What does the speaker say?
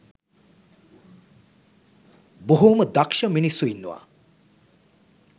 බොහෝම දක්ෂ මිනිස්සු ඉන්නවා.